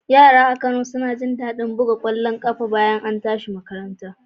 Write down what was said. Yara a Kano suna jin daɗin buga ƙwallon ƙafa a fili bayan an tashi daga makaranta